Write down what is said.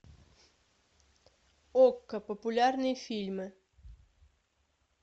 окко популярные фильмы